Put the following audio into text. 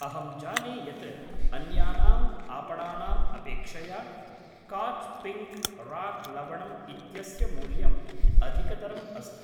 अहम् जाने यत् अन्यानाम् आपणानाम् अपेक्षया काच् पिङ्क् राक् लवणम् इत्यस्य मूल्यम् अधिकतरम् अस्ति।